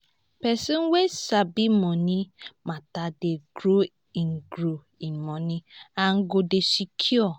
pesin wey sabi moni mata dey grow in grow in moni and go dey secure